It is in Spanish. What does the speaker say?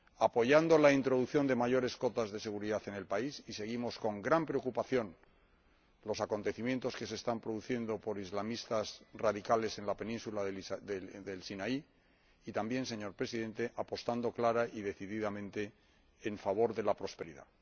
apoyando la introducción de mayores cotas de seguridad en el país —y seguimos con gran preocupación los acontecimientos que se están produciendo en la península del Sinaí causados por islamistas radicales— y también, señor Presidente, apostando clara y decididamente en favor de la prosperidad.